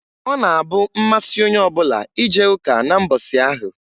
Ọ na-abụ mmasị onye ọbụla ije ụka na mbọsị ahụ.